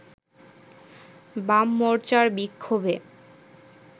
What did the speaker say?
বাম মোর্চার বিক্ষোভে